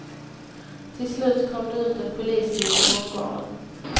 Till slut kom det ut en polisbil till bondgården.